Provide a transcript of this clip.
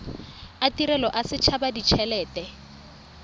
a tirelo a setshaba ditshelete